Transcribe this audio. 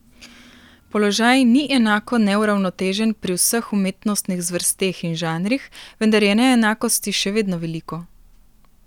Položaj ni enako neuravnotežen pri vseh umetnostnih zvrsteh in žanrih, vendar je neenakosti še vedno veliko.